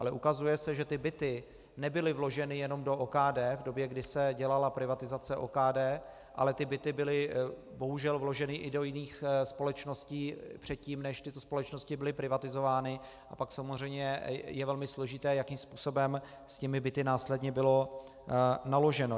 Ale ukazuje se, že ty byty nebyly vloženy jenom do OKD v době, kdy se dělala privatizace OKD, ale ty byty byly bohužel vloženy i do jiných společností předtím, než tyto společnosti byly privatizovány, a pak samozřejmě je velmi složité, jakým způsobem s těmi byty následně bylo naloženo.